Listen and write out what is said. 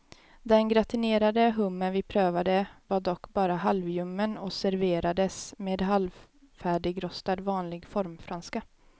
Den gratinerade hummer vi prövade var dock bara halvljummen och serverades med halvt färdigrostad vanlig formfranska.